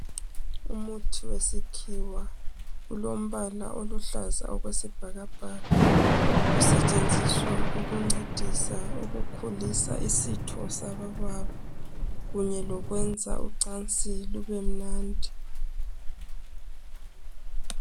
Umuthi wesikhiwa, ulombala oluhlaza okwesibhakabhaka usetshenziswa ukuncedisa ukukhulisa isitho sabobaba kunye lokwenza ucansi lubemnandi.